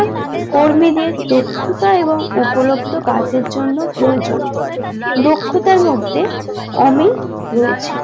কর্মীদের দক্ষতা এবং উপলব্ধ কাজের জন্য প্রয়োজন দক্ষতার মধ্যে অমিল রয়েছে